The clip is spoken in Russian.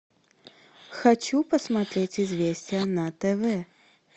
хочу посмотреть известия на тв